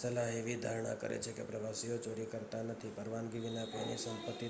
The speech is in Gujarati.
સલાહ એવી ધારણા કરે છે કે પ્રવાસીઓ ચોરી કરતા નથી, પરવાનગી વિના કોઈની સંપત્તિ